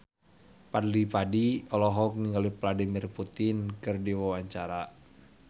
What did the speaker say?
Fadly Padi olohok ningali Vladimir Putin keur diwawancara